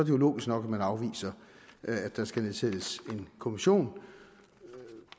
jo logisk nok at man afviser at der skal nedsættes en kommission